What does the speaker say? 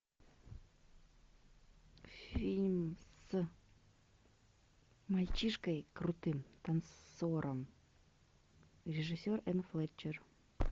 фильм с мальчишкой крутым танцором режиссер энн флетчер